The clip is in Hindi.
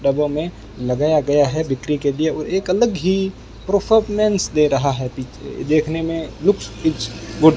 डब्बों में लगाया गया है बिक्री के लिए और एक अलग ही परफॉर्मेंस दे रहा है देखने में लुक्स इस गुड ।